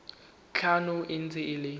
tlhano e ntse e le